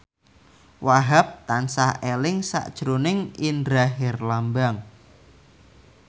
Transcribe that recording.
Wahhab tansah eling sakjroning Indra Herlambang